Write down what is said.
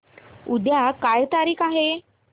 उद्या काय तारीख आहे